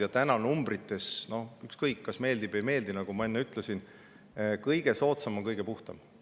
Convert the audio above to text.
Ja täna numbrite järgi, ükskõik, kas meeldib või ei meeldi, nagu ma enne ütlesin, on kõige soodsam kõige puhtam.